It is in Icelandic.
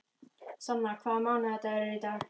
Sanna, hvaða mánaðardagur er í dag?